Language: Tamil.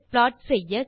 ப்ளாட் செய்ய